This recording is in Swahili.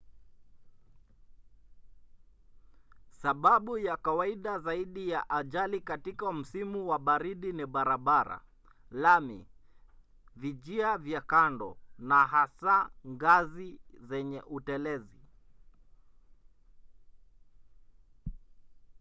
sababu ya kawaida zaidi ya ajali katika msimu wa baridi ni barabara lami vijia vya kando na hasa ngazi zenye utelezi